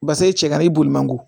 Basa i cɛ ka i boli man ko